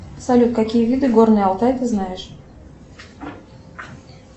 салют какие виды горный алтай ты знаешь